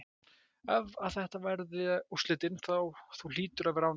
Ef að þetta verða úrslitin, þú hlýtur að vera ánægður?